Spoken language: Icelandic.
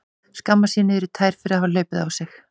Skammast sín niður í tær fyrir að hafa hlaupið á sig.